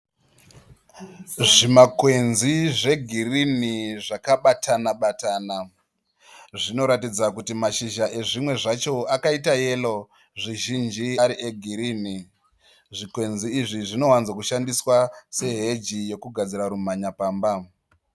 Zvimakwenzi zvegirini zvakabatana batana. Zvinoratidza kuti mashizha ezvimwe zvacho akaita yero zvizhinji ari egirini. Zvikwenzi izvi zvinowanzo kushandiswa seheji yokugadzira rumhanya pamba.